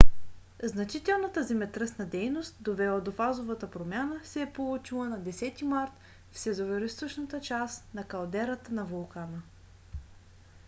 значителната земетръсна дейност довела до фазовата промяна се е получила на 10 март в североизточната част на калдерата на вулкана